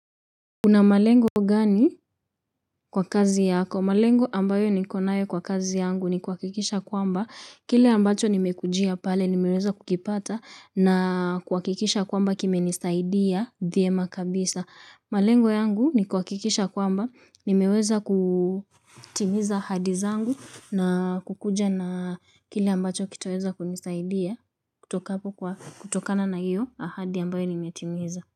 Kuna malengo gani kwa kazi yako? Malengo ambayo niko nayo kwa kazi yangu ni kuhakikisha kwamba kile ambacho nimekujia pale nimeweza kukipata na kuhakikisha kwamba kimenisaidia vyema kabisa. Malengo yangu ni kuhakikisha kwamba nimeweza kutimiza ahadi zangu na kukuja na kile ambacho kitaweza kunisaidia kutokana na hiyo ahadi ambayo nimetimiza.